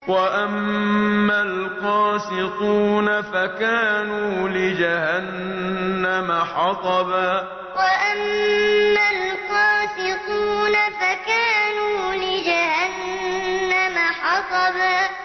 وَأَمَّا الْقَاسِطُونَ فَكَانُوا لِجَهَنَّمَ حَطَبًا وَأَمَّا الْقَاسِطُونَ فَكَانُوا لِجَهَنَّمَ حَطَبًا